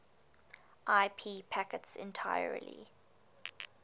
ip packets entirely